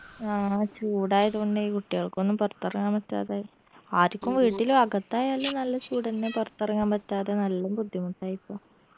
ആ ചൂടായതോണ്ടേ കുട്ടിയൾക്കൊന്നു പൊറത്തെറങ്ങാൻ പറ്റാതായി ആരിക്കും വീട്ടിലു അകത്തായാലും നല്ല ചൂടെന്നെ പൊറത്തെറങ്ങാൻ പറ്റാതെ നല്ല ബുദ്ധിമുട്ടായിപ്പോ